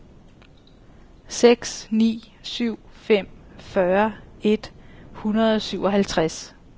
seks ni syv fem fyrre et hundrede og syvoghalvtreds